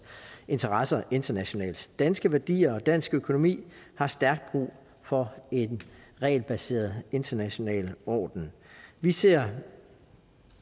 interesser internationalt danske værdier og dansk økonomi har stærkt brug for en regelbaseret international orden vi ser